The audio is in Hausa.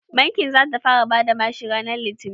Bankin za ta fara bada bashi ranar litinin.